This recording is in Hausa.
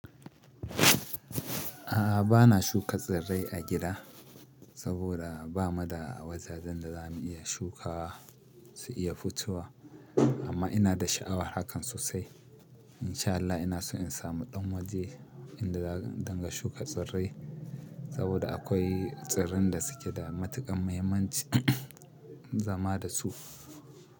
A'a bana shuka tsirrai a gida saboda bamu da wajajen da za mu iya shukawa su iya fitowa amma ina da sha'awar hakan sosai. In sha Allah ina so in samu ɗan waje inda zan dinga shuka tsirrai saboda akwai tsirran da suke da matuƙan mahimmanci zama da su.